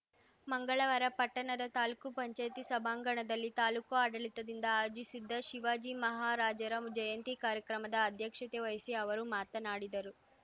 ಮಂಗಳವಾರ ಪಟ್ಟಣದ ತಾಲೂಕುಪಂಚಾಯ್ತಿ ಸಭಾಂಗಣದಲ್ಲಿ ತಾಲೂಕು ಆಡಳಿತದಿಂದ ಆಯೋಜಿಸಿದ್ದ ಶಿವಾಜಿ ಮಹಾರಾಜರ ಜಯಂತಿ ಕಾರ್ಯಕ್ರಮದ ಅಧ್ಯಕ್ಷತೆ ವಹಿಸಿ ಅವರು ಮಾತನಾಡಿದರು